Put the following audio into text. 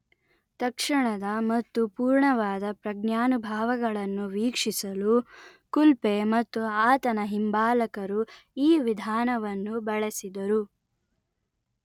ತಕ್ಷಣದ ಮತ್ತು ಪೂರ್ಣವಾದ ಪ್ರಜ್ಞಾನುಭಾವಗಳನ್ನು ವೀಕ್ಷಿಸಲು ಕುಲ್ಪೆ ಮತ್ತು ಆತನ ಹಿಂಬಾಲಕರು ಈ ವಿಧಾನವನ್ನು ಬಳಸಿದರು